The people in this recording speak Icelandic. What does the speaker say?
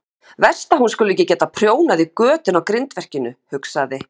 Verst að hún skuli ekki geta prjónað í götin á grindverkinu, hugsaði